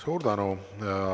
Suur tänu!